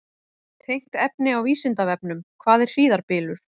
Tengt efni á Vísindavefnum: Hvað er hríðarbylur?